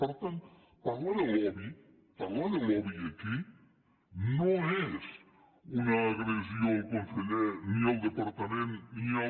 per tant parlar de lobby parlar de lobby aquí no és una agressió al conseller ni al departament ni al